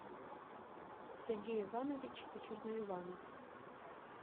сергей иванович черноиванов